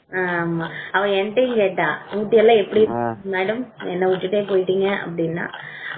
ஆமா அவ என்கிட்டயும் கேட்டா மேடம் என்ன ஊட்டி ட்ரிப் எல்லாம் எப்படி இருந்துச்சு என்ன விட்டுட்டு போயிட்டீங்க அப்படின்னா